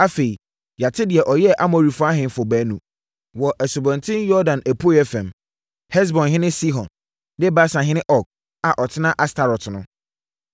Afei yɛate deɛ ɔyɛɛ Amorifoɔ ahemfo baanu wɔ Asubɔnten Yordan apueeɛ fam, Hesbonhene Sihon ne Basanhene Og (a ɔtenaa Astarot no).